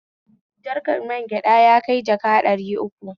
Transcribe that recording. Jarkan magyaɗa yakai jaka ɗari uku